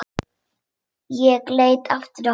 Ég leit aftur á hana.